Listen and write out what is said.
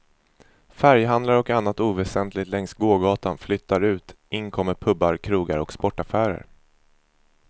Färghandlare och annat oväsentligt längs gågatan flyttar ut, in kommer pubar, krogar och sportaffärer.